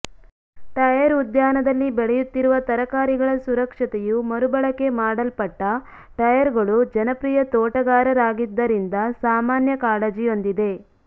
tyre ಉದ್ಯಾನದಲ್ಲಿ ಬೆಳೆಯುತ್ತಿರುವ ತರಕಾರಿಗಳ ಸುರಕ್ಷತೆಯು ಮರುಬಳಕೆ ಮಾಡಲ್ಪಟ್ಟ ಟೈರ್ಗಳು ಜನಪ್ರಿಯ ತೋಟಗಾರರಾಗಿದ್ದರಿಂದ ಸಾಮಾನ್ಯ ಕಾಳಜಿಯೊಂದಿದೆ